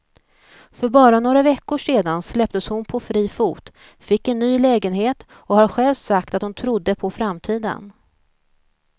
För bara några veckor sedan släpptes hon på fri fot, fick en ny lägenhet och har själv sagt att hon trodde på framtiden.